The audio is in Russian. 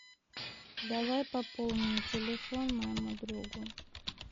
давай пополним телефон моему другу